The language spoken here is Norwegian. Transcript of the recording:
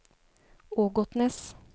Ågotnes